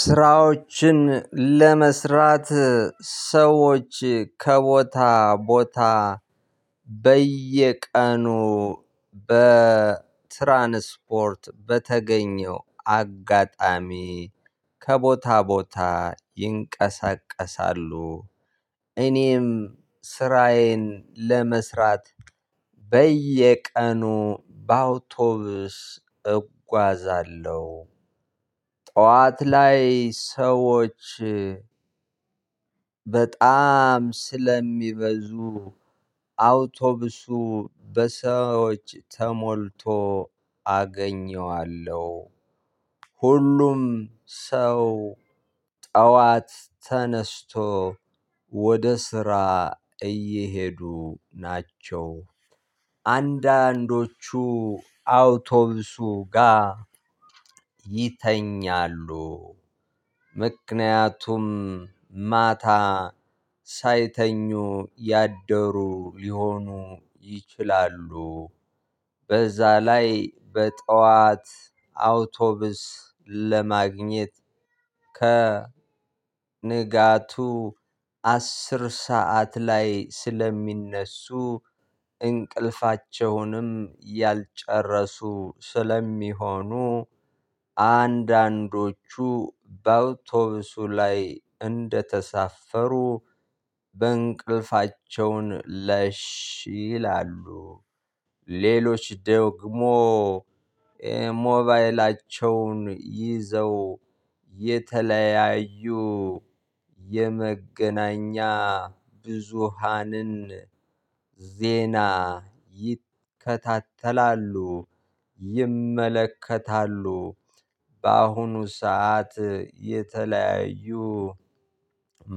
ስራዎችን ለመስራት ሰዎች ከቦታ ቦታ በየቀኑ በትራንስፖርት በተገኘው አጋጣሚ ከቦታ ቦታ ይንቀሳቀሳሉ። እኔም ስራዬን ለመስራት በየቀኑ በአውቶቡስ እጓዛለሁ። ጠዋት ላይ ሰዎች በጣም ስለሚበዙ አውቶብሱ በሰዎች ተሞልቶ እገኘዋለሁ። ሁሉም ሰው ጠዋት ተነስቶ ወደ ስራ እየሄዱ ናቸው። አንዳንዶቹ አውቶቡሱ ጋር ይተኛሉ። ምክንያቱም ማታ ሳይተኙ ያደሩ ሊሆኑ ይችላሉ። በዛ ላይ በጠዋት አውቶብስ ለማግኘት ከ ንጋቱ አስር ሰዓት ላይ ስለሚነሱ እንቅልፋቸውንም ያልጨረሱ ስለሚሆኑ አንዳንዶቹ በአውቶቡሱ ላይ እንደተሳፈሩ በእንቅልፋቸውን ለሽ ይላሉ። ሌሎች ደግሞ ሞባይላቸውን ይዘው የተለያዩ የመገናኛ ብዙሃንን ዜና ይከታተላሉ ይመለከታሉ። በአሁኑ ሰዓት የተለያዩ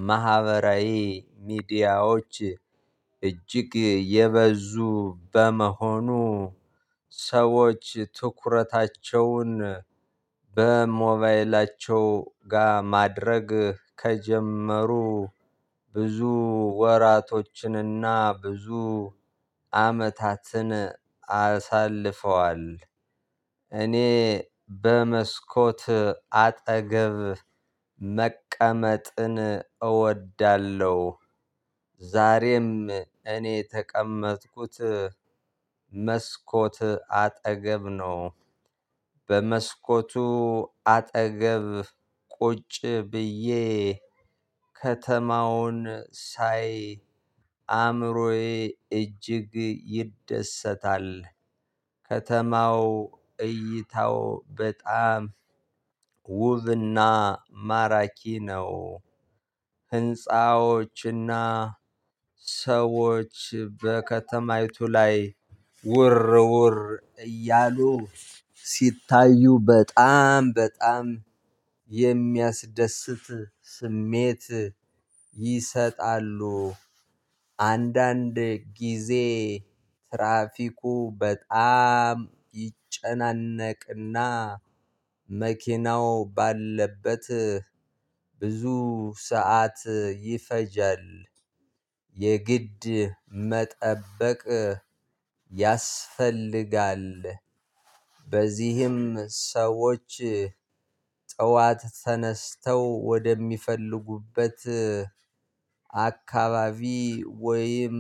ማህበራዊ ሚዲያዎች እጅግ የበዙ በመሆኑ። ሰዎች ትኩረታቸውን በሞባይላቸው ጋር ማድረግ ከጀመሩ ብዙ ወራቶችንና ብዙ አመታትን አሳልፈዋል። እኔ በመስኮት አጠገብ መቀመጥን እወዳለሁ። ዛሬም እኔ ተቀመጥኩት መስኮት አጠገብ ነው። በመስኮቱ አጠገብ ቁጭ ብዬ ከተማውን ሳይ አእምሮዬ እጅግ ይደሰታል። ከተማው እይታው በጣም ውብና ማራኪ ነው። ህንፃዎችና ሰዎች በከተማይቱ ላይ ውር ውር እያሉ ሲታዩ በጣም በጣም የሚያስደስት ስሜት ይሰጣሉ። አንዳንድ ጊዜ ትራፊኩ በጣም ይጨናነቅና መኪናው ባለበት ብዙ ሰዓት ይፈጃል የግድ መጠበቅ ያስፈልጋል። በዚህም ሰዎች ጠዋት ተነስተው ወደሚፈልጉበት አካባቢ ወይም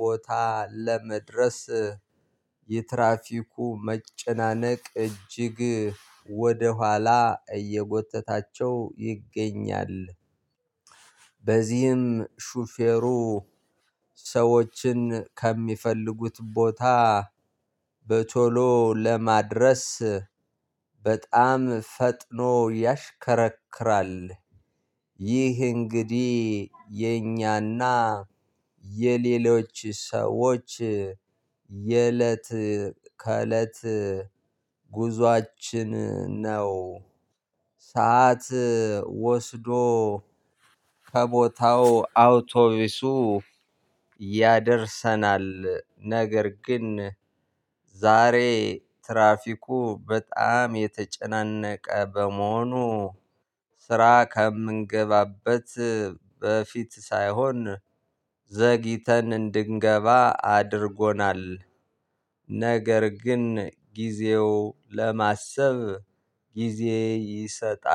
ቦታ ለመድረስ የትራፊኩ መጨናነቅ እጅግ ወደኋላ እየጎተታቸው ይገኛል። በዚህም ሹፌሩ ሰዎችን ከሚፈልጉት ቦታ በቶሎ ለማድረስ በጣም ፈጥኖ ያሽከረክራል። ይህ እንግዲህ የኛና የሌሎች ሰዎች የእለት ከእለት ጉዞአችን ነው። ሰዓት ወስዶ ከቦታው አውቶቢሱ ያደርሰናል። ነገር ግን ዛሬ ትራፊኩ በጣም የተጨናነቀ በመሆኑ ስራ ከምንገባበት በፊት ሳይሆን ዘግይተን እንድንገባ አድርጎናል። ነገር ግን ጊዜው ለማሰብ ጊዜ ይሰጣል